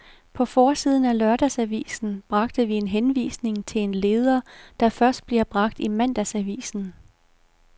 På forsiden af lørdagsavisen bragte vi en henvisning til en leder, der først bliver bragt i mandagsavisen.